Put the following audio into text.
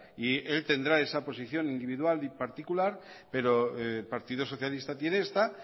y él tendrá esa posición individual y particular pero el partido socialista tiene esta